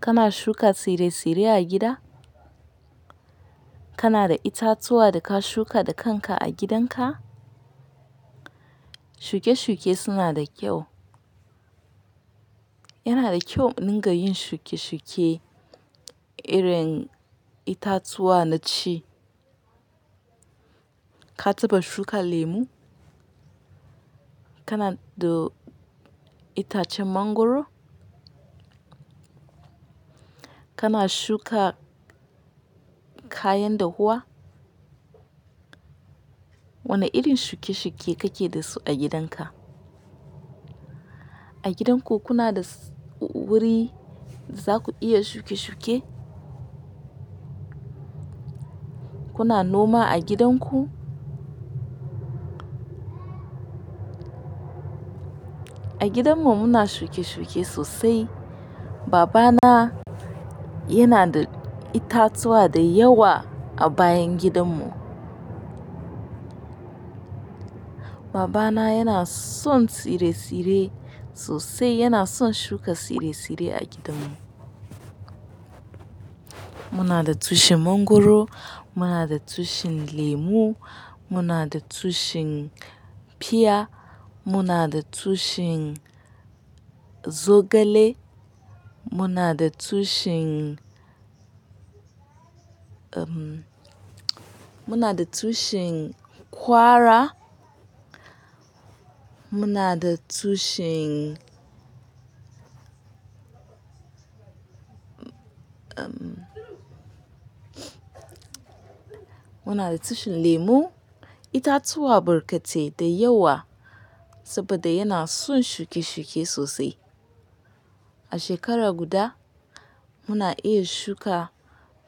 Kana shuka tsire-tsire a gida? Kana da itatuwa da ka shuka da kanka a gidanka? Shuke-shuke suna da kyau. Yana da kyau mu dinga yin shuke-shuke. Irin itatuwa na ci. Ka taba shuka lemu? Kana da itacen mangwaro? Kana shuka kayan dahuwa? Wane irin shuke-shuke kake da su a gidanka? A gidanku kuna da wuri da zaku iya shuke-shuke? Kuna noma a gidanku? A gidanmu muna shuke-shuke sosai. Babana yana da itatuwa da yawa a bayan gidanmu. Babana yana son tsire-tsire sosai. Yana son shuka tsire-tsire a gidanmu. Muna da tushen mangwaro, muna da tushen lemu, muna da tushen pear, muna da tushen zogale, muna da tushen, muna da tushen kwara, muna da tushen, muna da tushen lemu. Itatuwa barkatai da yawa saboda yana son shuke-shuke sosai. A shekara guda muna iya shuka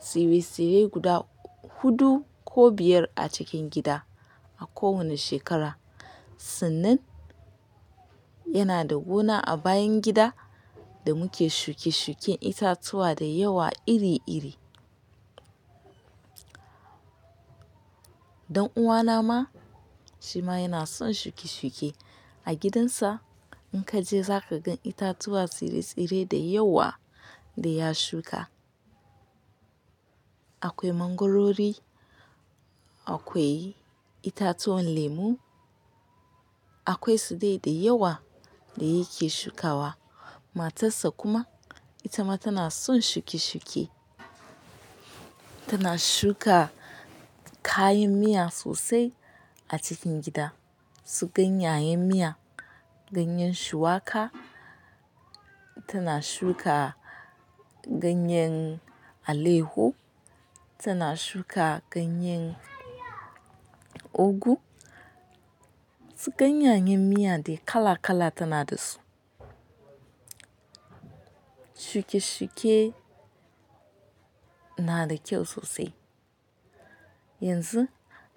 tsire-tsire guda huɗu ko biyar a cikin gida a kowane shekara. Sannan yana da gona a bayan gida da muke shuke-shuken itatuwa da yawa iri-iri. Dan'uwana ma, shi ma yana son shuke-shuke. A gidansa in ka je za ka gan itatuwa tsire-tsire da yawa da ya shuka. Akwai mangwarori, akwai itatuwan lemu, akwai sudai da yawa da yake shukawa. Matarsa kuma ita ma tana son shuke-shuke. Tana shuka kayan miya sosai a cikin gida. Su ganyanyen miya, ganyen shuwaka, tana shuka ganyen aleho, tana shuka ganyen ogu, su ganyanyen miya dai kala-kala tana da su. Shuke-shuke na da kyau sosai. Yanzu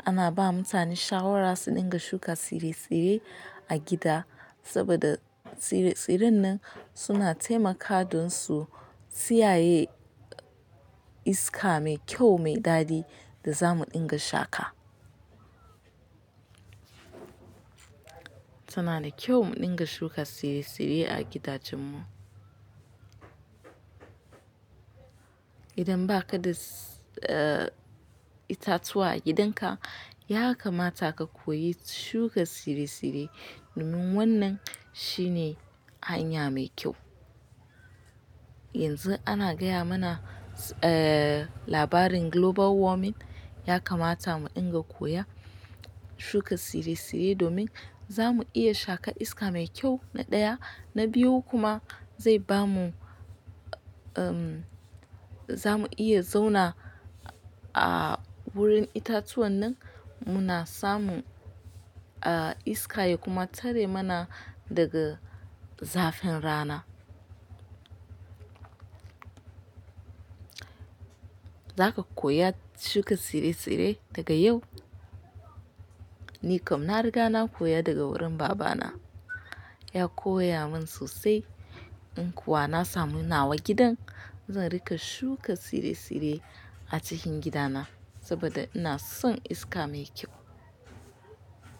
ana ba mutane shawara su dinga shuka tsire-tsire a gida saboda tsire-tsiren nan suna taimaka don su siyaye iska mai kyau, mai dadi da za mu dinga shaƙa. Tana da kyau mu dinga shuka tsire-tsire a gidajenmu. Idan ba ka da itatuwa a gidanka, ya kamata ka koyi shuka tsire-tsire domin wannan shine hanya mai kyau. Yanzu ana gaya mana labarin global warming. Ya kamata mu dinga koya shuka tsire-tsire domin za mu iya shaƙan iska mai kyau na ɗaya, na biyu kuma zai bamu, za mu iya zauna a wurin itatuwan nan muna samun iska ya kuma tare mana daga zafin rana. Za ka koya shuka tsire-tsire daga yau? Ni kam na riga na koya daga wurin babana. Ya koya min sosai. In kuwa na samu nawa gidan, zan rika shuka tsire-tsire a cikin gidana saboda ina son iska mai kyau.